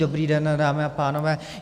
Dobrý den dámy a pánové.